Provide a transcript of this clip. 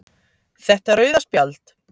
Þetta rauða spjald.